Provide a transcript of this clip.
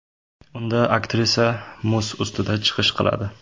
Unda aktrisa muz ustida chiqish qiladi.